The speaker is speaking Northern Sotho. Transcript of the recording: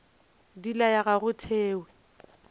di laya ga go thewe